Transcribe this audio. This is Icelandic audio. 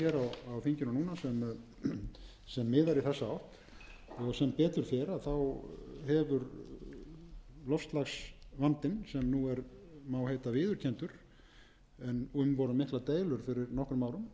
miðar í þessa átt sem betur fer hefur loftslagsvandinn sem nú má heita viðurkenndur en um voru miklar deilur fyrir nokkrum árum en þeim má heita lokið eftir það hafa menn tekið höndum saman um að reyna sem verða